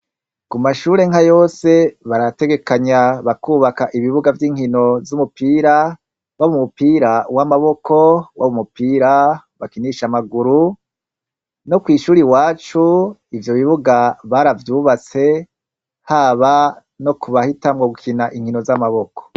Ku mashure nka yose barategekanya bakubaka ibibuga vy'inkino z'umupira waba umupira w'amaboko, waba umupira bakinisha amaguru no kw'ishuri iwacu ivyo bibuga baravyubatse haba no kubahitanwo gukina inkino z'amaboko.